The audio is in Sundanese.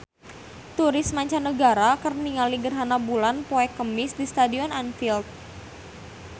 Turis mancanagara keur ningali gerhana bulan poe Kemis di Stadion Anfield